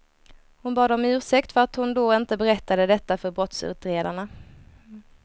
Hon bad om ursäkt för att hon då inte berättade detta för brottsutredarna.